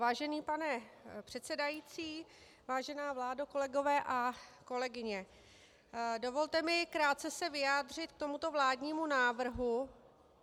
Vážený pane předsedající, vážená vládo, kolegové a kolegyně, dovolte mi krátce se vyjádřit k tomuto vládnímu návrhu.